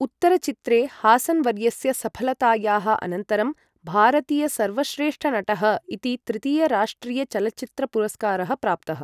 उत्तरचित्रे हासन् वर्यस्य सफलतायाः अनन्तरं भारतीयसर्वश्रेष्ठनटः इति तृतीयः राष्ट्रियचलच्चित्रपुरस्कारः प्राप्तः।